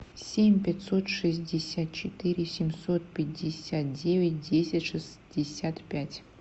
семь пятьсот шестьдесят четыре семьсот пятьдесят девять десять шестьдесят пять